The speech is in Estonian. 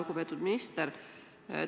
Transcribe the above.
Lugupeetud minister!